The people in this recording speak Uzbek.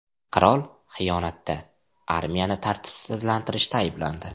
Qirol xiyonatda, armiyani tartibsizlanstirishda ayblandi.